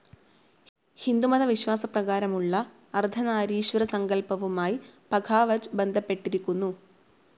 ഹിന്ദുമത വിശ്വാസപ്രകാരമുള്ള അർദ്ധനാരീശ്വര സങ്കല്പവുമായ് പഘാവജ് ബന്ധപ്പെട്ടിരിക്കുന്നു.